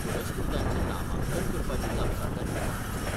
पुरस्कृतांचें नामांकन करपाची जापसालदारकी कोणाची ?